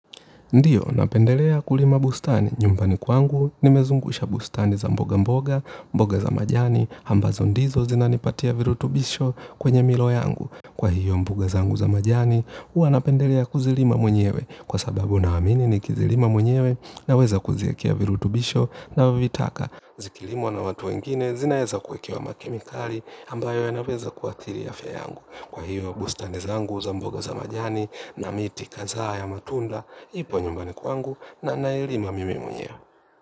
Ndiyo, napendelea kulima bustani nyumbani kwangu, nimezungusha bustani za mboga mboga, mboga za majani, ambazo ndizo zinanipatia virutubisho kwenye milo yangu. Kwa hiyo mboga zangu za majani, huwa napendelea kuzilima mwenyewe, kwa sababu naamini nikizilima mwenyewe naweza kuziekea virutubisho navyovitaka. Zikilimwa na watu wengine zinaeza kuwekewa makimikali ambayo yanaweza kuadhiri afya yangu. Kwa hiyo bustani zangu za mboga za majani na miti kadhaa ya matunda ipo nyumbani kwangu na nailima mimi mwenyewe.